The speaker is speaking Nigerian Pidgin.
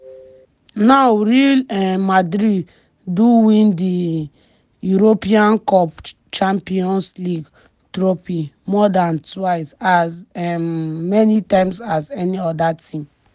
now real um madrid do win di european cup/champions league trophy more dan twice as um many times as any oda team.